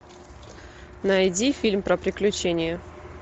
найди фильм про приключения